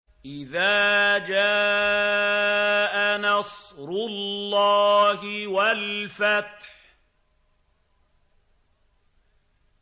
إِذَا جَاءَ نَصْرُ اللَّهِ وَالْفَتْحُ